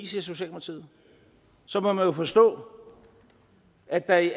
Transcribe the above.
socialdemokratiet så må man jo forstå at der i